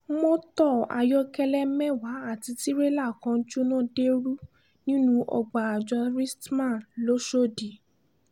mọ́tò ayọ́kẹ́lẹ́ mẹ́wàá àti tìrẹ́là kan jóná deérú nínú ọgbà àjọ rstma lọ́shọ́dì